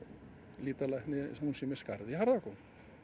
lýtalækni hún sé með skarð í harða góm